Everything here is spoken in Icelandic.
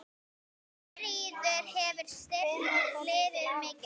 Þuríður hefur styrkt liðið mikið.